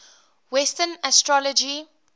western astrology